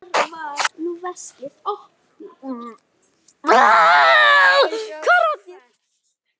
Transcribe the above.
Það gæti breyst á morgun.